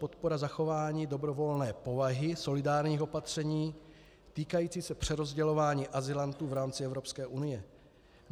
Podpora zachování dobrovolné povahy solidárních opatření týkající se přerozdělování azylantů v rámci Evropské unie.